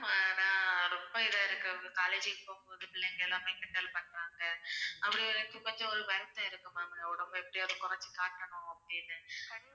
ஆனா ரொம்ப இதா இருக்கு college க்கு போகும் போது பிள்ளைங்க எல்லாமே கிண்டல் பண்றாங்க அப்படி இருக்கும் போது ஒரு மாதிரி இருக்கும் ma'am உடம்ப எப்ப்டியாவது குறைச்சி காட்டணும் அப்படின்னு